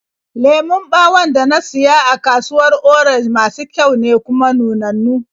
Lemon ɓawon da na siya a kasuwar Orenj masu kyau ne, kuma nunannu.